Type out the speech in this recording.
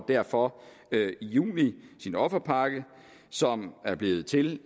derfor i juni sin offerpakke som er blevet til